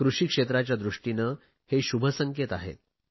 कृषी क्षेत्राच्या दृष्टीने हे शुभसंकेत आहेत